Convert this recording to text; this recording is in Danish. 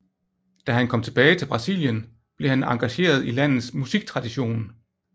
Da han kom tilbage til Brasilien blev han engageret i landets musiktradition